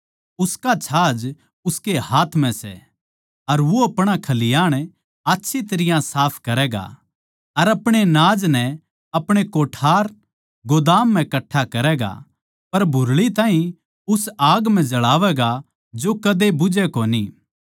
उसका छाज उसकै हाथ म्ह सै अर वो अपणा खलिहाण आच्छी तरियां साफ करैगा अर अपणे नाज नै अपणे कोठार गोदाम म्ह कट्ठा करैगा पर भुरळी ताहीं उस आग म्ह जळावैगा जो कदे बुझै कोनी